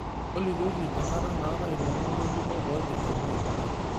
tolikioki enkata naatae ilomon ng'ejuko oipirta mwai kibaki